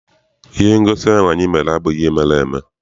Ihe ngosi ahụ anyị mere abụghị ihe mere eme.